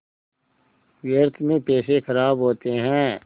व्यर्थ में पैसे ख़राब होते हैं